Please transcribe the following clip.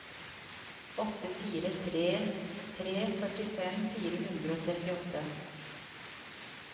åtte fire tre tre førtifem fire hundre og trettiåtte